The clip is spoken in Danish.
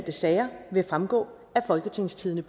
sager vil fremgå af folketingstidende